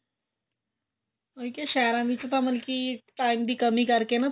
ਉਹੀ ਕਿਹਾ ਸਹਿਰਾਂ ਵਿੱਚ ਤਾਂ ਮਤਲਬ ਕੀ time ਦੀ ਕਮੀ ਕਰਕੇ ਨਾ